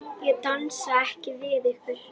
Ég dansa ekki við ykkur.